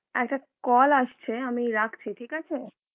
আরেকটা call আসছে আমি রাখছি ঠিক আছে.